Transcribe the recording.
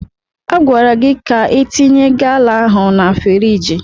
Agwara gị ka itinye gala ahụ na friiji!